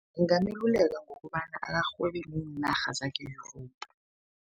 Ngingameluleka ngokobana akarhwebe neenarha zangeLesotho.